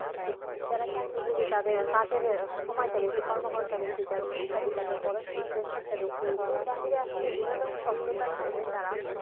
যারা চাকরিজীবী তাদের কাজের সময়টা বেশি কর্ম ঘন্টা বেশি যারা শিক্ষার্থী তাদের পড়াশোনার pressure টা বেশি এর বাইরে আসলে বিনোদন শব্দটার সঙ্গে তারা